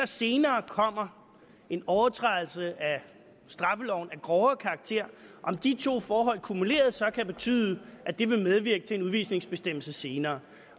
senere kommer en overtrædelse af straffeloven af hårdere karakter og de to forhold så kumuleres kan det betyde at det vil medvirke til en udvisningsbestemmelse senere